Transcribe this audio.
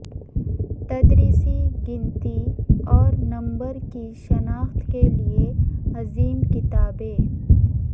تدریس گنتی اور نمبر کی شناخت کے لئے عظیم کتابیں